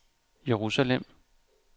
Jerusalem